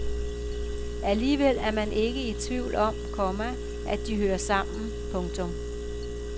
Alligevel er man ikke i tvivl om, komma at de hører sammen. punktum